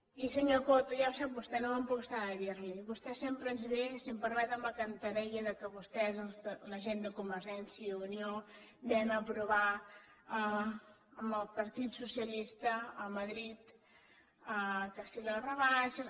i senyor coto ja ho sap vostè no me’n puc estar de dir li ho vostè sempre ens ve si em permet amb la cantarella que vostès la gent de convergència i unió vam aprovar amb el partit socialista a madrid que si les rebaixes